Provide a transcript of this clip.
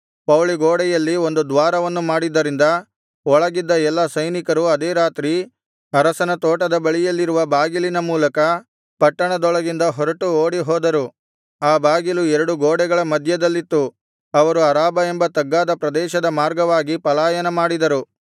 ಪೌಳಿಗೋಡೆಯಲ್ಲಿ ಒಂದು ದ್ವಾರವನ್ನು ಮಾಡಿದ್ದರಿಂದ ಒಳಗಿದ್ದ ಎಲ್ಲಾ ಸೈನಿಕರು ಅದೇ ರಾತ್ರಿ ಅರಸನ ತೋಟದ ಬಳಿಯಲ್ಲಿರುವ ಬಾಗಿಲಿನ ಮೂಲಕ ಪಟ್ಟಣದೊಳಗಿಂದ ಹೊರಟು ಓಡಿ ಹೋದರು ಆ ಬಾಗಿಲು ಎರಡು ಗೋಡೆಗಳ ಮಧ್ಯದಲ್ಲಿತ್ತು ಅವರು ಅರಾಬಾ ಎಂಬ ತಗ್ಗಾದ ಪ್ರದೇಶದ ಮಾರ್ಗವಾಗಿ ಪಲಾಯನ ಮಾಡಿದರು